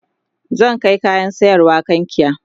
zan Kai kayan sayarwa kankia